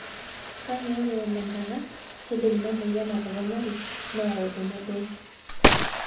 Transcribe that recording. Kake ore elo enkata, keidim ina moyian atoponari neyau emodoo.